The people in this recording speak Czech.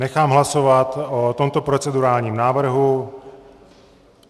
Nechám hlasovat o tomto procedurálním návrhu.